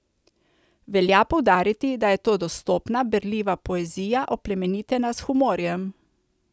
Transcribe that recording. Velja poudariti, da je to dostopna, berljiva poezija, oplemenitena s humorjem.